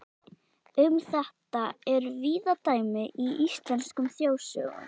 Um þetta eru víða dæmi í íslenskum þjóðsögum.